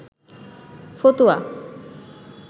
ফতুয়া